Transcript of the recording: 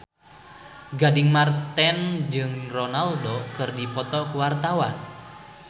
Gading Marten jeung Ronaldo keur dipoto ku wartawan